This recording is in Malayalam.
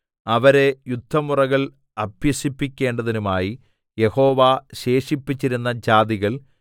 അവരെ യുദ്ധമുറകൾ അഭ്യസിപ്പിക്കേണ്ടതിനുമായി യഹോവ ശേഷിപ്പിച്ചിരുന്ന ജാതികൾ